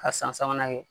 Ka san sabanan kɛ